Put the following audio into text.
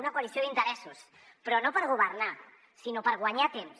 una coalició d’interessos però no per governar sinó per guanyar temps